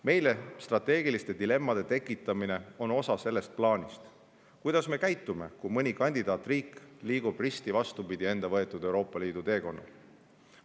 Meile strateegiliste dilemmade tekitamine on osa sellest plaanist: kuidas me käitume, kui mõni kandidaatriik liigub risti vastupidi enda võetud Euroopa Liidu teekonnal?